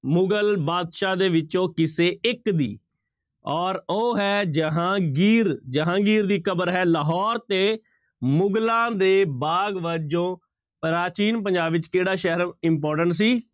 ਮੁਗ਼ਲ ਬਾਦਸ਼ਾਹ ਦੇ ਵਿੱਚੋਂ ਕਿਸੇ ਇੱਕ ਦੀ ਔਰ ਉਹ ਹੈ ਜਹਾਂਗੀਰ ਜਹਾਂਗੀਰ ਦੀ ਕਬਰ ਹੈ ਲਾਹੌਰ ਤੇ ਮੁਗ਼ਲਾਂ ਦੇ ਬਾਗ਼ ਵਜੋਂ ਪ੍ਰਾਚੀਨ ਪੰਜਾਬ ਵਿੱਚ ਕਿਹੜਾ ਸ਼ਹਿਰ important ਸੀ,